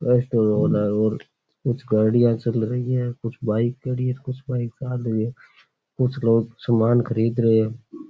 कुछ गाड़ियाँ चल रही है कुछ बाइक खड़ी है कुछ बाइक चाल रही है कुछ लोग सामान खरीद रहे हैं।